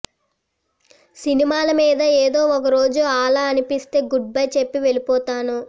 సినిమాల మీద ఏదో ఒక రోజు ఆలా అనిపిస్తే గుడ్ బై చెప్పి వెళ్ళిపోతాను